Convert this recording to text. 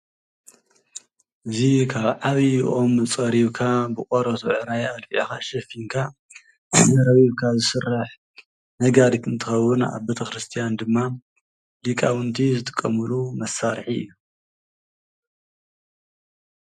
እዚ ካብ ዓብዩ ኦም ፀሪብካ ብናይ ቆርበት ኣልፊዕካ ሸፊንካ ረቢብካ ዝስራሕ ነጋሪት እንትከውን ኣብ ቤቴክርስትያን ድማ ሊቃውንቲ ዝጥቀምሉ መሳሪሒ እዩ።